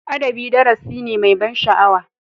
Adabi darasi ne mai ban sha'awa.